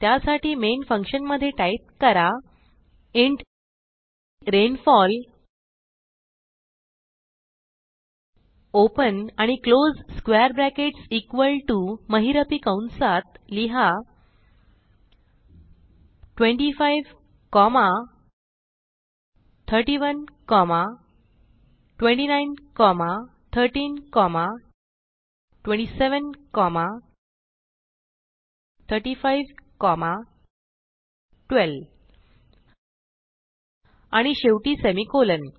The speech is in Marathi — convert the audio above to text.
त्यासाठी मेन फंक्शन मधे टाईप करा इंट रेनफॉल ओपन आणि close square brackets equal to महिरपी कंसात लिहा 25 कोमा 31 29 13 27 35 12 आणि शेवटी सेमिकोलॉन